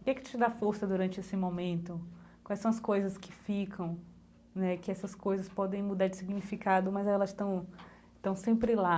o que é que te dá força durante esse momento, quais são as coisas que ficam né, que essas coisas podem mudar de significado, mas elas estão estão sempre lá.